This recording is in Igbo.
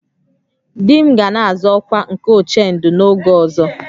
"Di m ga na-azọ ọkwa nke "Ochendo" n'oge ọzọ "